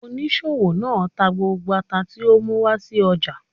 Oníṣòwò náà tà gbógbó àtá ti ọ mú wá sí ọja.